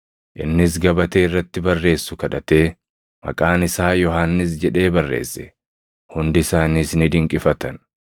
Innis gabatee irratti barreessu kadhatee, “Maqaan isaa Yohannis” jedhee barreesse; hundi isaaniis ni dinqifatan.